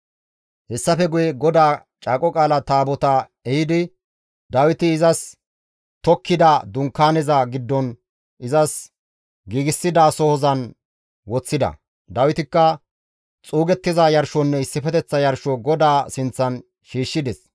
Hessafe guye GODAA Caaqo Qaala Taabotaa ehidi Dawiti izas tokkida Dunkaaneza giddon izas giigsidasohozan woththida; Dawitikka xuugettiza yarshonne issifeteththa yarsho GODAA sinththan shiishshides.